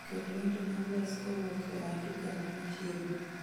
Ket wende nameless kowuok e andikena machiegni